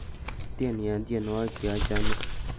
tes tieni en tienywogik jeochome